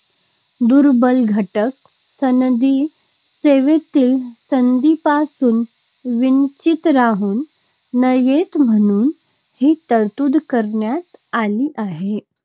दुर्बल घटक सनदी सेवेतील संधींपासून वंचित राहू नयेत म्हणून ही तरतूद करण्यात आली आहे.